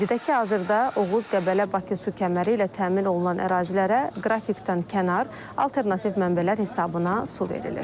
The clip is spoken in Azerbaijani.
Qeyd edək ki, hazırda Oğuz-Qəbələ-Bakı su kəməri ilə təmin olunan ərazilərə qrafikdən kənar alternativ mənbələr hesabına su verilir.